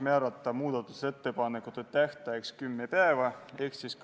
Ma olen sada protsenti nõus sellega, mida siin puldis ütlesid Annely Akkermann ja Jüri Jaanson.